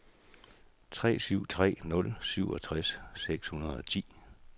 tre syv tre nul syvogtres seks hundrede og ti